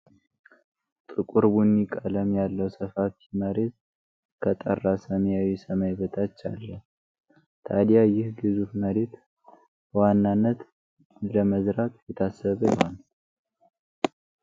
ጥቁር ቡኒ ቀለም ያለው ሰፋፊ መሬት ከጠራ ሰማያዊ ሰማይ በታች አለ። ታዲያ ይህ ግዙፍ መሬት በዋናነት ምን ለመዝራት የታሰበ ይሆን?